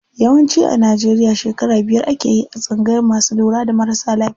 Yawanci a Najeriya shekara biyar akeyi a tsangayar masu lura da marasa lafiya.